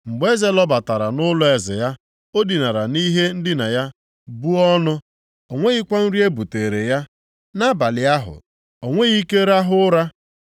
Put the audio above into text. Mgbe eze lọbatara nʼụlọeze ya, o dinara nʼihe ndina ya buo ọnụ, onweghịkwa nri ebutere ya. Nʼabalị ahụ, o nweghị ike rahụ ụra.